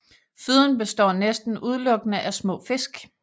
Føden består næsten udelukkende af små fisk